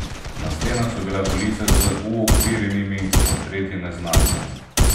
Na stenah so bile police z uokvirjenimi portreti neznancev.